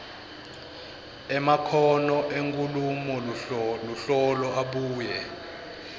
emakhono enkhulumoluhlolo abuye